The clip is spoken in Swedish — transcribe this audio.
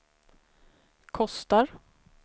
kostar